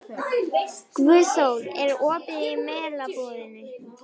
Guðþór, er opið í Melabúðinni?